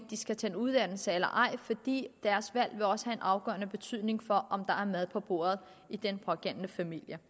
de skal tage en uddannelse eller ej fordi deres valg også vil afgørende betydning for om der er mad på bordet i den pågældende familie